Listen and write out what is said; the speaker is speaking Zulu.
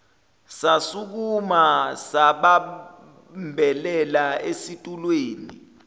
sasukuma sabambelela esitulweni